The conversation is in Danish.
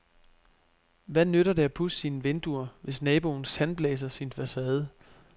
Hvad nytter det at pudse sine vinduer, hvis naboen sandblæser sin facade?